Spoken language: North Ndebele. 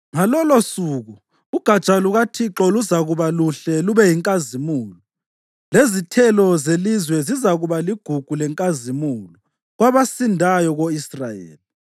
Ngalolosuku uGatsha lukaThixo luzakuba luhle lube yinkazimulo, lezithelo zelizwe zizakuba ligugu lenkazimulo kwabasindayo ko-Israyeli.